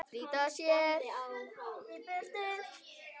Flýta sér í burtu.